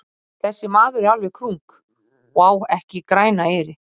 Þessi maður er alveg krunk og á ekki grænan eyri.